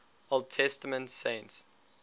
old testament saints